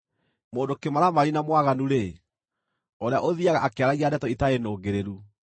Mũndũ kĩmaramari na mwaganu-rĩ, ũrĩa ũthiiaga akĩaragia ndeto itarĩ nũngĩrĩru,